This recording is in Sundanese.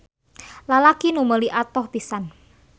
Lalaki nu meuli atoh pisan.